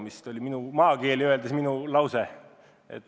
Selline minu maakeeli öeldud vastus oli.